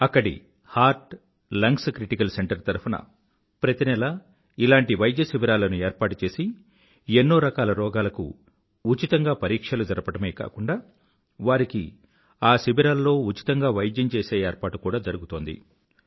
అక్కడి heart lungs critical centre తరఫున ప్రతి నెలా ఇలాంటి వైద్య శిబిరాల ఏర్పాటు చేసి ఎన్నోరకాల రోగాలకు ఉచితంగా పరీక్షలు జరపడమే కాకుండా వారికి ఆ శిబిరాల్లో ఉచితంగా వైద్యం చేసే ఏర్పాటు కూడా జరుగుతుంది